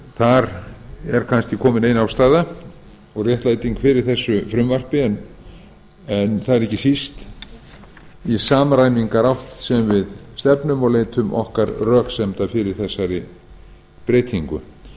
þar er kannski komin ein ástæða og réttlæting fyrir frumvarpinu en það er ekki síst í samræmingarátt sem við stefnum og leitum okkar röksemda fyrir breytingunni